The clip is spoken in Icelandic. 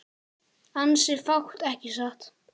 Ansi fátt ekki satt?